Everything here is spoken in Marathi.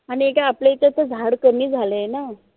आनी एक आय आपल्या इथं आता झाड कमी झालाय न